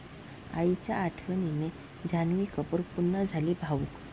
आईच्या आठवणीने जान्हवी कपूर पुन्हा झाली भावुक